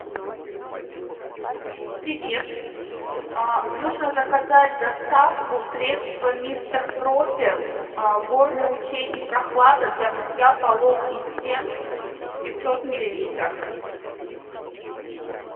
привет нужно заказать доставку средства мистер пропер горный ручей и прохлада для мытья полов и стен пятьсот миллилитров